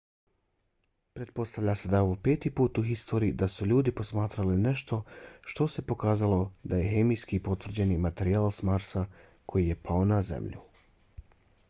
pretpostavlja se da je ovo peti put u historiji da su ljudi posmatrali nešto što se pokazalo da je hemijski potvrđeni materijal s marsa koji je pao na zemlju